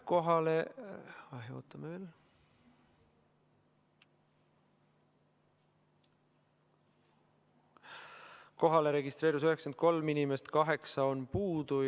Kohalolijaks registreerus 93 inimest, 8 on puudu.